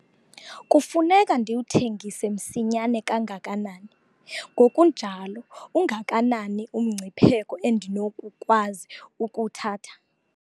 Kufuneka ndiwuthengise msinyane kangakanani ngokunjalo ungakanani umngcipheko endinokukwazi ukuwuthatha?